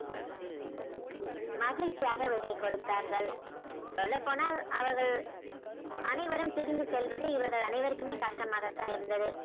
மகிழ்ச்சியாக விடை கொடுத்தார்கள் சொல்லப்போனால் அவர்கள் அனைவரும் திரும்பி செல்வது இவர்கள் அனைவருக்குமே கஷ்டமாகத்தான் இருந்தது.